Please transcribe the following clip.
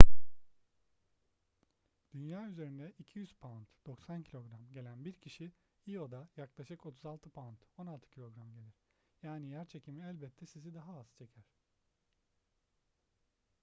dünya üzerinde 200 pound 90 kg gelen bir kişi io'da yaklaşık 36 pound 16kg gelir. yani yerçekimi elbette sizi daha az çeker